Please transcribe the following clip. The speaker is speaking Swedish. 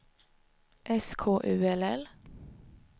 S K U L L